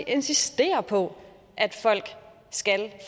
insisterer på at folk skal